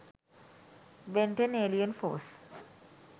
ben 10 alien force